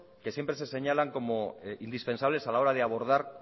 que siempre se señalan como indispensables a la hora de abordar